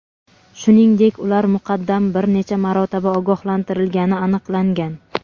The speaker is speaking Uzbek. shuningdek ular muqaddam bir necha marotaba ogohlantirilgani aniqlangan.